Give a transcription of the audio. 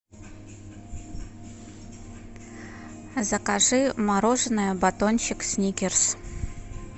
закажи мороженое батончик сникерс